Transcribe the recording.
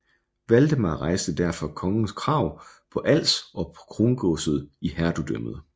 Valdemar rejste overfor kongen krav på Als og på krongodset i hertugdømmet